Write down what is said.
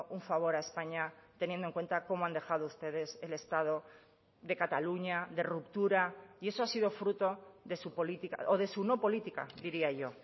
un favor a españa teniendo en cuenta cómo han dejado ustedes el estado de cataluña de ruptura y eso ha sido fruto de su política o de su no política diría yo